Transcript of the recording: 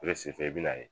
i bɛ n'a ye